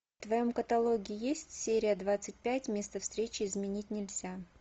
в твоем каталоге есть серия двадцать пять место встречи изменить нельзя